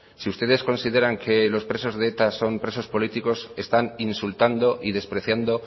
si ustedes consideran que los presos de eta son presos políticos están insultando y despreciando